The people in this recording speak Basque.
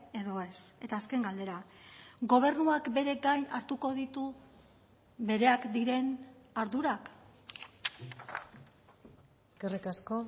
edo ez eta azken galdera gobernuak bere gain hartuko ditu bereak diren ardurak eskerrik asko